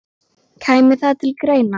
Kæmi það til greina?